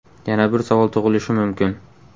Yana bir savol tug‘ilishi mumkin?